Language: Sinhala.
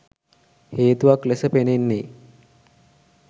හේතුවක් ලෙස පෙනෙන්නේ